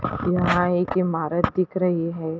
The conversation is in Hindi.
यहाँ एक इमारत दिख रही है।